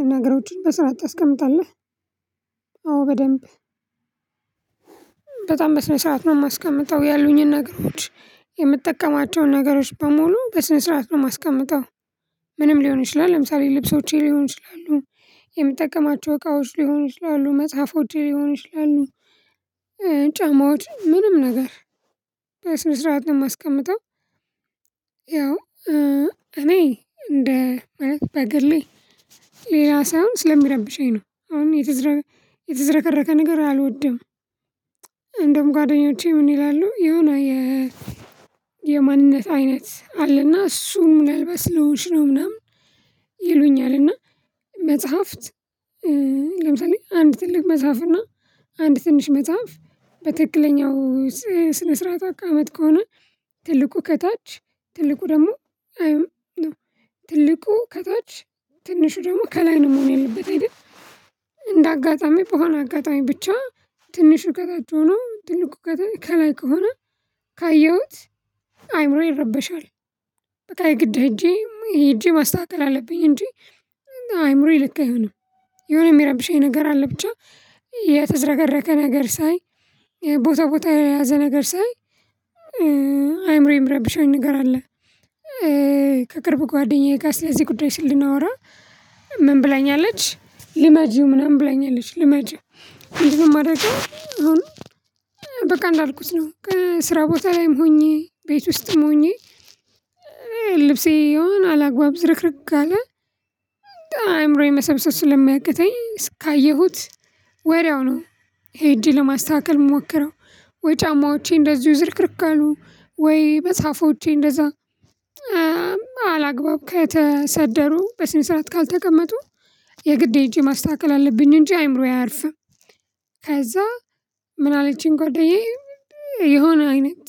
እና ነገሮቹን በሰርዓት ታስቀምታለህ? አዎ በደንብ በጣም በስነ ስርዓት ነው የማስቀምጠው ያሉኝን ነገሮች የምጠቀማቸውን ነገሮች በሙሉ በስነ ስርዓት ነው የማስቀምጠው። ምንም ሊሆን ይችላል ለምሳሌ ልብሶቼ ሊሆን ይችላሉ የምጠቀማቸው እቃዎች ሊሆን ይችላሉ መጽሐፎቼ ሊሆኑ ይሆናሉ። ጫማዎች ምንም ነገር በስነ ስርዓት ነው የማስቀምጠው። ያው እኔ እንደ ማለት በግሌ ሌላ ሳይሆን ስለሚረብሸኝ ነው አሁን የተዘረከረከ ነገር አልወደም። እንደውም ጓደኞቼ ምን ይላሉ የሆነ የ የማንነት አይነት አለና እሱ ምን አልባት ስለሆንሽ ነው ምናምን ይሉኛል እና። መጽሐፍት ለምሳሌ አንድ ትልቅ መጽሐፍ እና አንድ ትንሽ መጽሐፍ በትክክለኛው ስነ ስርዓት አቃመጥ ከሆነ ትልቁ ከታች ትልቁ ደግሞ አይም ትልቁ ከታች ትንሹ ደግሞ ከላይ ነው መሆን ያለበት አይደል? እንደ አጋጣሚ በሆነ አጋጣሚ ብቻ ትንሹ ከታች ነው ትልቁ ከላይ ከሆነ ካየሁት አይምሮ ይረበሻል። በቃ ግድ ሄጄ ሄጄ ማስተካከል አለብኝ እንጂ አይምሮዬ ልክ አይሆንም። የሆነ የሚረብሸኝ ነገር አለ ብቻ የተዝረከረከ ነገር ሳይ ቦታ ቦታ የልያዘ ነገር ሳይ አይምሮዬም ምረብሻኝ ነገር አለ። ከቅርብ ጓደኛዬ ጋር ስለዚህ ጉዳይ ስናወራ ምን ብላኛለች ልማጂው ምናምን ብለኛለች ልማጂው ምድነው ማደርገው አሁን? በቃ እንዳልኩት ነው ከስራ ቦታ ላይም ሆኜ ቤት ውስጥም ሆኜ ልብሴ የሆነ አላግባብ ዝርክርክ ከለ አይምሮዬን መሰብሰብ ስለሚያቅተኝ እስካየሁት ወድያው ነው። ሄጄ ለማስተካከል ምሞክረው ወይ ጫማዎቼ እንደዚሁ ዝርክርክ ከሉ ወይ መፅሃፎቼ እንደዛ አላግባብ ከተሰደሩ በስነ ስርዓት ካልተቀመጡ የግድ ሄጄ ማስተካከል አለብኝ እንጂ አይምሮዬ አያርፍም። ከዛ ምን አለችኝ ጓደኛዬ የሆነ አይነት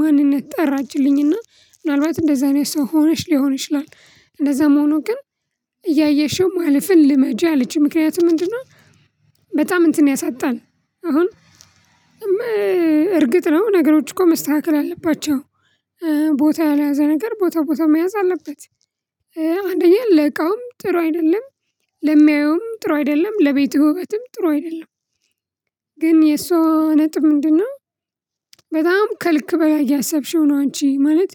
ማንነት ጠራችልኝና ምናልባት እንደዛ ነው ሰው ሆነሽ ሊሆን ይችላል እንደዛም ሆኖ ግን እያየሽው ማለፍን ልመጃ አለችኝ ምክንያቱም ምንድነው? በጣም እንትን ያሳጣል። አሁን እርግጥ ነው ነገሮች እኮ መስተካከል አለባቸው። ቦታ ያልያዘ ነገር ቦታ ቦታ መያዝ አለበት። አንደኛ ለእቃውም ጥሩ አይደለም። ለሚያየውም ጥሩ አይደለም ለቤቱ ውበትም ጥሩ አይደለም። ግን የሷ ነጥብ ምንድነው? በጣም ከልክ በላይ እያሰብሽው ነው አንቺ ማለት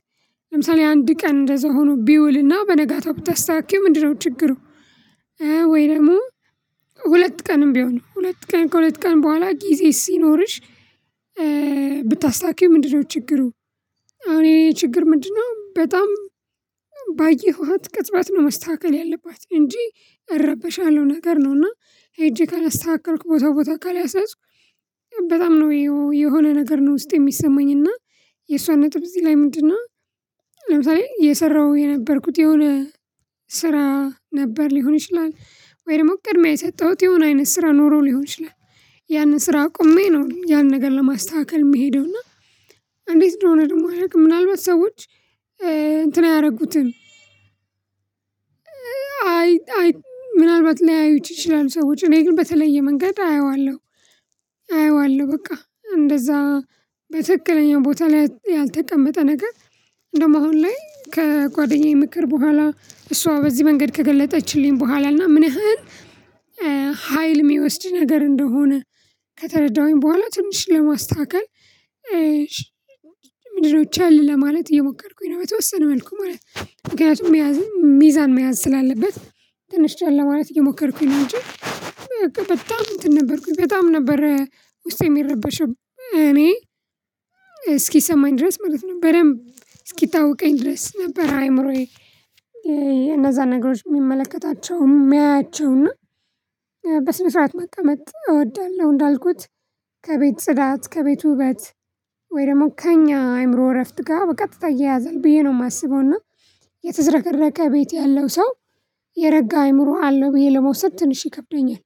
ለምሳሌ አንድ ቀን እንደዛ ሆኖ ቢውልና በነጋታው ብታስተካክይው ምንድነው ችግሩ? ወይ ደግሞ ሁለት ቀንም ቢሆን ሁለት ቀን ከሁለት ቀን በኋላ ጊዜ ሲኖርሽ ብታስታኪው ምንድነው ችግሩ? አሁን የኔ ችግር ምንድነው በጣም ባየኋት ቅጽበት ነው መስተካከል ያለባት እንጂ እረበሻለሁ ነገር ነው። እና ሄጄ ካላስተካከልኩ ቦታው ቦታ ካላሳስኩ በጣም ነው የሆነ ነገር ነው ውስጤ የሚሰማኝ እና የእሷ ነጥብ እዚህ ላይ ምንድነው? ለምሳሌ የሰራው የነበርኩት የሆነ ስራ ነበር ሊሆን ይችላል ወይ ደግሞ ቅድሚያ የሰጠሁት የሆነ አይነት ስራ ኖሮ ሊሆን ይችላል። ያንን ስራ አቁሜ ነው ያንን ነገር ለማስተካከል የሚሄደው እና። እንዴት እንደሆነ ደግሞ አላውቅም ምናልባት ሰዎች እንትን አያደርጉትም። አይ ምናልባት ሊያዩት ይችላሉ ሰዎች እኔ ግን በተለየ መንገድ አየዋለሁ። አየዋለሁ በቃ እንደዛ በትክክለኛ ቦታ ላይ ያልተቀመጠ ነገር እንደውም አሁን ላይ ከጓደኛዬ ምክር በኋላ እሷ በዚህ መንገድ ከገለጠችልኝ በኋላ እና ምን ያህል ሀይል የሚወስድ ነገር እንደሆነ። ከተረዳሁኝ በኋላ ትንሽ ለማስተካከል። ምድድነው ቸል ለማለት እየሞከርኩኝ ነው በተወሰነ መልኩ ማለት ነው። ምክንያቱም መያዝ ሚዛን መያዝ ስላለበት ትንሽ ቻል ለማለት እየሞከርኩኝ እንጂ። በቃ በጣም እንትን ነበርኩኝ በጣም ነበር ውስጥ የሚረበሸው እኔ እስኪሰማኝ ድረስ ማለት በደንብ እስኪታወቀኝ ድረስ ነበር። አይምሮዬ እነዛን ነገሮች የሚመለከታቸው የሚያያቸው እና በስነ ስርዓት መቀመጥ እወዳለሁ እንዳልኩት ከቤት ጽዳት ከቤት ውበት ወይ ደግሞ ከእኛ አይምሮ እረፍት ጋር በቀጥታ ይየያዘን ብዬ ነው የማስበውና። የተዝረከረከ ቤት ያለው ሰው የረጋ አይምሮ አለው ብዬ ለመውሰድ ትንሽ ይከብደኛል።